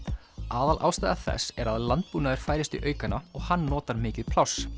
aðalástæða þess er að landbúnaður færist í aukana og hann notar mikið pláss